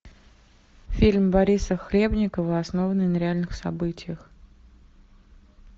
фильм бориса хлебникова основанный на реальных событиях